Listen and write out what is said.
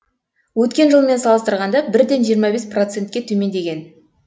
өткен жылмен салыстырғанда бірден жиырма бес процентке төмендеген